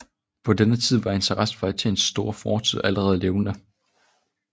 På den tid var interessen for Athens store fortid allerede levende